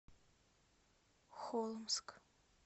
холмск